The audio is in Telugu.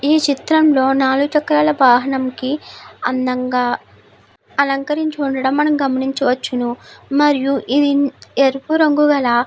ఈ చిత్రం లో నాలుగు చక్రాల వాహనం కి అందంగా అలంకరించి ఉండడం మనం గమనించ వచ్చును మరియు ఇది ఎరుపు రంగు గల --